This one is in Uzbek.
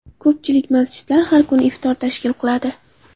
Ko‘pchilik masjidlar har kun iftor tashkil qiladi.